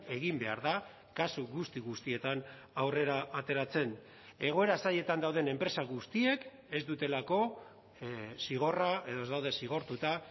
egin behar da kasu guzti guztietan aurrera ateratzen egoera zailetan dauden enpresa guztiek ez dutelako zigorra edo ez daude zigortuta